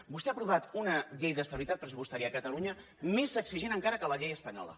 vostè ha aprovat una llei d’estabilitat pressupostària a catalunya més exigent encara que la llei espanyola